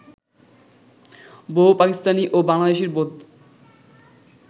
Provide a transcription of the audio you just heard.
বহু পাকিস্তানি ও বাংলাদেশির বোধ